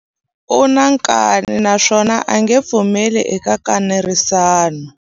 U na nkani naswona a nge pfumeli eka nkanerisano.